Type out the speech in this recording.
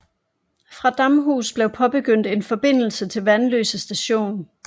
Fra Damhus blev påbegyndt en forbindelse til Vanløse Station